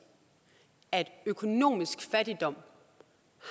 at økonomisk fattigdom